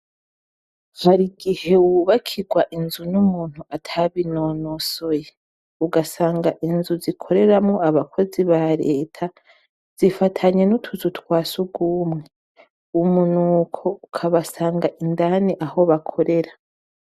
Hari igihe wubakirwa inzu n'umuntu atabinonosoye, ugasanga inzu zikoreramwo abakozi ba Leta zifatanye n'utuzu twa surwumwe. Umunuko ukabasanga indani aho bakorera.